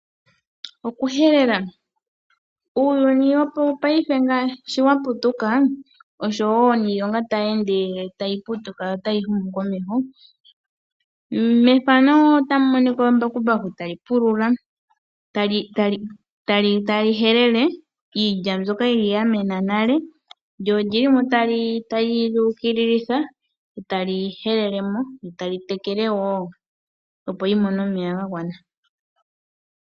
Okuhelela Uuyuni wopaife sho wa putuka, oshowo niilonga tayi ende tayi putuka notayi humu komeho. Ombakumbaku otayi helele iilya mbyoka ya mena nale. Otali yu ukililitha e tali helele mo, lyo tali tekele wo, opo yi mone omeya ga gwana.